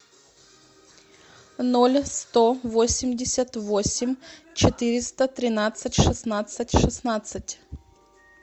ноль сто восемьдесят восемь четыреста тринадцать шестнадцать шестнадцать